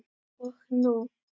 OG NÚ!